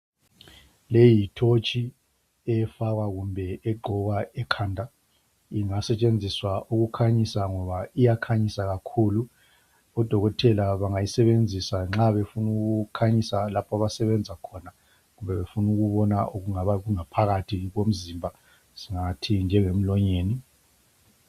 Leyi yithotshi, efakwa kumbe egqokwa ekhanda. Ingasetshenziswa ukukhanyisa, ngoba iyakhanyisa kakhulu. Odokotela bangayisebenzisa nxa befuna ukukhanyisa lapha abasebenza khona. Kumbe befuna ukubona okungaba kungaphakathi komzimba, singathi njengemlonyeni.